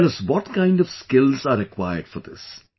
Tell us what kind of skills are required for this